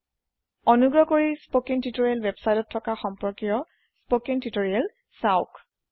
অনুগ্ৰহ কৰি spoken tutorial ৱেবচাইতত থকা সম্পৰ্কীয় স্পকেন তিওতৰিয়েল চাওক